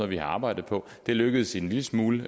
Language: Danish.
vi har arbejdet på det lykkedes en lille smule